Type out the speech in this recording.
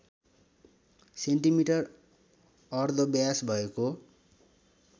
centimetre अर्धव्यास भएको